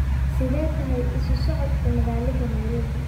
sidee tahay isu socodka magaalada nairobi?